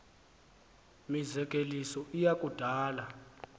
mizekeliso iya kudala